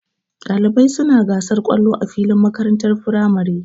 Ɗalibai suna gasar kallo a filin makarantar firamare.